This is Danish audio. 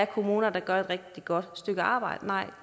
kommuner der gør et rigtig godt stykke arbejde